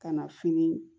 Ka na fini